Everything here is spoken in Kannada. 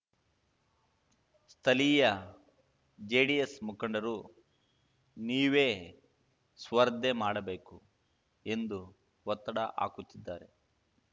ಸ್ಥಳೀಯ ಜೆಡಿಎಸ್‌ ಮುಖಂಡರು ನೀವೇ ಸ್ಪರ್ಧೆ ಮಾಡಬೇಕು ಎಂದು ಒತ್ತಡ ಹಾಕುತ್ತಿದ್ದಾರೆ